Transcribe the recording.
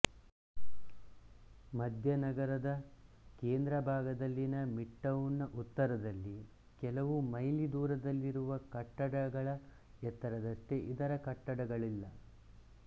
ಮಧ್ಯನಗರದ ಕೇಂದ್ರಭಾಗದಲ್ಲಿನ midtown ನ ಉತ್ತರದಲ್ಲಿ ಕೆಲವು ಮೈಲಿದೂರದಲ್ಲಿರುವ ಕಟ್ಟಡಗಳ ಎತ್ತರದಷ್ಟೆ ಇದರ ಕಟ್ಟಡಗಳಿಲ್ಲ